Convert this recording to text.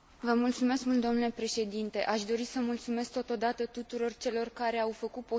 Aș dori să mulțumesc totodată tuturor celor care au făcut posibilă această dezbatere.